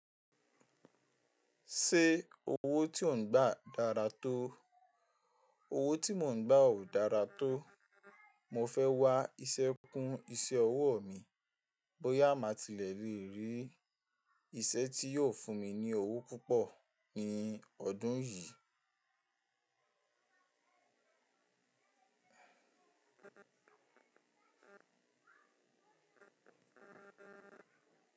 Ṣé owó tí ò ń gbà dára tó? Owó tí mò ń gbà ò dára tó. Mo fẹ́ wá iṣẹ́ kún iṣẹ́ ọwọ́ mi bóyá màá ti lè rí iṣẹ́ tí yóò fún mi ní owó púpọ̀ ní ọdún yìí.